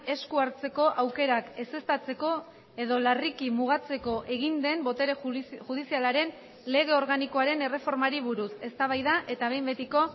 esku hartzeko aukerak ezeztatzeko edo larriki mugatzeko egin den botere judizialaren lege organikoaren erreformari buruz eztabaida eta behin betiko